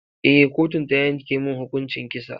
Eh, kotun ta yanke mun hukuncin kisa.